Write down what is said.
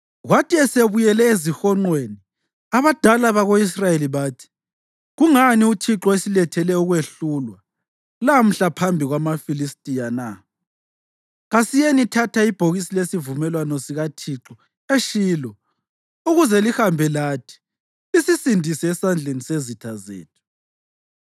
Kwathi esebuyele ezihonqweni, abadala bako-Israyeli bathi, “Kungani uThixo esilethele ukwehlulwa lamhla phambi kwamaFilistiya na? Kasiyenithatha ibhokisi lesivumelwano sika Thixo eShilo, ukuze lihambe lathi lisisindise esandleni sezitha zethu.”